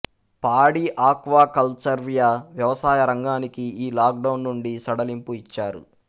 పాడి ఆక్వాకల్చర్వ్యవసాయ రంగానికి ఈ లాక్ డౌన్ నుండి సడలింపు ఇచ్చారు